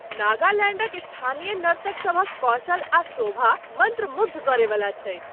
नागालैंडक स्थानीय नर्तक सभक कौशल आ शोभा मंत्रमुग्ध करयवला छैक।